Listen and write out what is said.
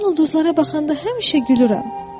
Mən ulduzlara baxanda həmişə gülürəm.